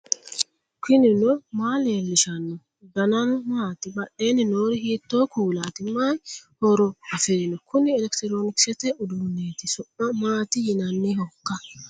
knuni maa leellishanno ? danano maati ? badheenni noori hiitto kuulaati ? mayi horo afirino ? kuni elekitiroonkisete uduunneeti su'ma maati yinannihoikka ?